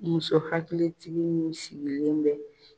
Muso hakilitigi min sigilen bɛ